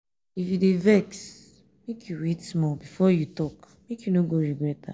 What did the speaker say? if you dey vex make you wait small before you talk make you no go regret am.